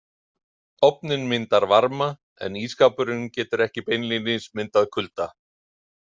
Ofninn myndar varma en ísskápurinn getur ekki beinlínis myndað kulda.